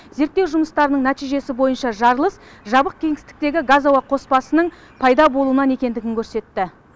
зерттеу жұмыстарының нәтижесі бойынша жарылыс жабық кеңістіктегі газ ауа қоспасының пайда болуынан екендігін көрсетті